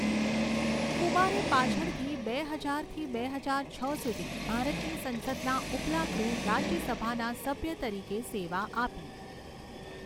કુમારે પાછળથી બે હજારથી બે હજાર છ સુધી ભારતની સંસદના ઉપલા ગૃહ રાજ્યસભાના સભ્ય તરીકે સેવા આપી.